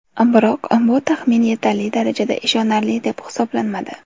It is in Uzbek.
Biroq bu taxmin yetarli darajada ishonarli deb hisoblanmadi.